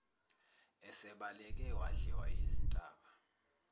esebaleke wadliwa yizintaba